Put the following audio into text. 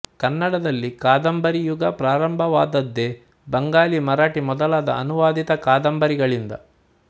ಕನ್ನಡದಲ್ಲಿ ಕಾದಂಬರಿಯುಗ ಪ್ರಾರಂಭವಾದದ್ದೇ ಬಂಗಾಳಿ ಮರಾಠಿ ಮೊದಲಾದ ಅನುವಾದಿತ ಕಾದಂಬರಿಗಳಿಂದ